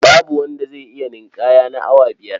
Babu wanda zai iya ninƙaya na awa biyar.